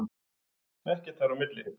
Ekkert þar á milli!